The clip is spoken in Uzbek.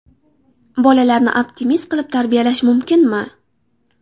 Bolalarni optimist qilib tarbiyalash mumkinmi?.